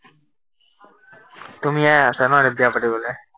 তুমিয়ে আছা ন, এতিয়া বিয়া পাতিবলে?